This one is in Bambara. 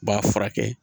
U b'a furakɛ